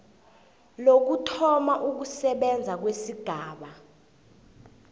lokuthoma ukusebenza kwesigaba